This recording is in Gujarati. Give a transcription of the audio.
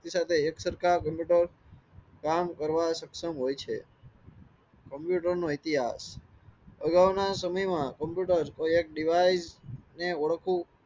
તેની સાથે એક સરખા કમ્પ્યુટર કામ કરવા સક્ષમ હોય છે. કમ્પ્યુટર નો ઇતિહાસ અગાઉ ના સમય માં કમ્પ્યુટર ને એક ડેવિસેને ઓળખું